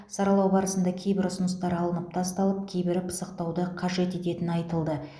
саралау барысында кейбір ұсыныстар алынып тасталып кейбірі пысықтауды қажет ететіні айтылды